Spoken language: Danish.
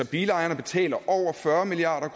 bilejerne betaler altså over fyrre milliard